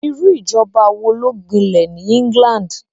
Irú ìjọba wo ló gbinlẹ̀ ní England?